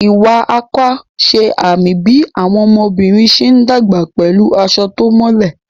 Iwa Akwa ṣe àmì bí àwọn ọmọbìnrin ṣe ń dàgbà pẹ̀lú aṣọ tó mọ́lẹ̀.